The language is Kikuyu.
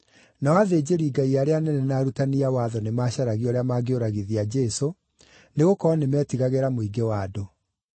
nao athĩnjĩri-Ngai arĩa anene na arutani a watho nĩmacaragia ũrĩa mangĩũragithia Jesũ, nĩgũkorwo nĩmetigagĩra mũingĩ wa andũ.